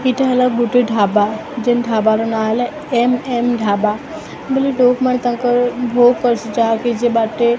ଏଇଟା ହେଲା ଗୁଟେ ଢ଼ାବା ଯେନ ଢ଼ାବାର ନାମ ହେଲା ଏମ_ଏନ ଢ଼ାବା ବୋଲ ଲୋକମାନେ ତାଙ୍କର ବହୁତ ପ୍ରଶଂସା ଯାହାକି ଯିବାର୍ ଟେ --